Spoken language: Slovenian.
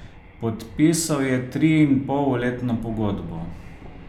Podpisal je triinpolletno pogodbo.